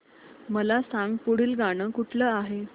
मला सांग पुढील गाणं कुठलं आहे